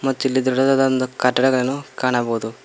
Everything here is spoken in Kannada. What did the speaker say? ಮತ್ತ ಇಲ್ಲಿ ದೊಡ್ಡದಾದಂದ ಕಟ್ಟಡಗಳನು ಕಾಣಬಹುದು.